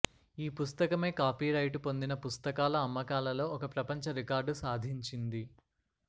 ఈ పుస్తకమే కాపీరైటు పొందిన పుస్తకాల అమ్మకాలలో ఒక ప్రపంచ రికార్డు సాధించింది